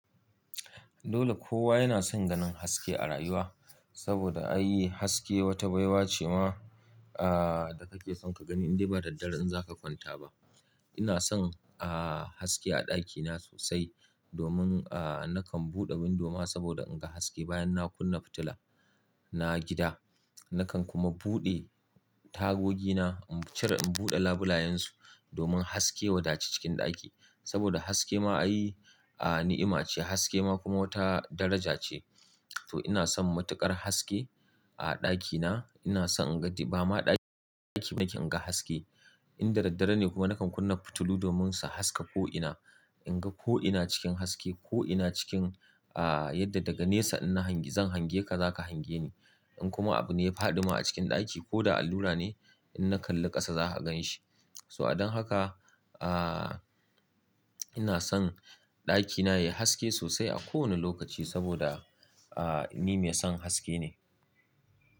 Dole kowa yana son ganin haske a rayuwa, saboda an yi haske wata baiwa ce ma, da kake son ka gani in dai ba da daddare in za ka kwanta ba. Ina son, haske a ɗakina sosai, domin, nakan buɗe bindima saboda in ga haske bayan na kunna fitila na gida. Nakan kuma buɗe tagogi na in cire in buɗe labulayansu domin haske ya wadaci cikin ɗaki. Saboda haske ma ai, ni'ima ce, haske ma kuma wata daraja ce. To ina son matuƙar haske a ɗakina. Ina son in gaji ba ma ɗaki-ɗaki nake in ga haske. In da daddare ne kuma nakan kunna fitilu domin su haska ko'ina. In ga ko'ina cikin haske, ko'ina cikin, ah, yadda daga nesa in na hangi zan hange ka za ka hange ni. In kuma abu ne ya faɗi ma a cikin ɗaki ko da allura ne, in na kalli ƙasa za ka gan shi. So a don haka, ah, ina son ɗakina ya yi haske sosai a kowane lokaci saboda, ah, ni mai son haske ne.